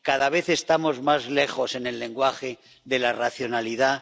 Cada vez estamos más lejos en el lenguaje de la racionalidad.